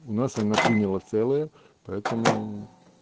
у нас она приняла целая поэтому